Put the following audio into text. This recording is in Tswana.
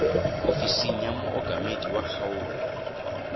ofising ya mookamedi wa kgaolo